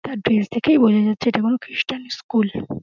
তার ড্রেস দেখেই বোঝা যাচ্ছে এটা কোন খ্রিস্টান স্কুল ।